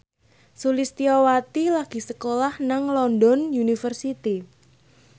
Sulistyowati lagi sekolah nang London University